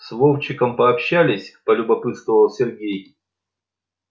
с вовчиком пообщалась полюбопытствовал сергей